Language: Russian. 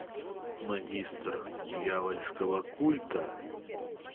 магистр дьявольского культа